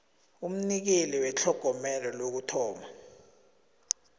umnikeli wetlhogomelo lokuthoma